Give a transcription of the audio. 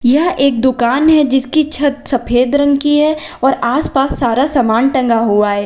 यह एक दुकान है जिसकी छत सफेद रंग की है और आसपास सारा समान टंगा हुआ है।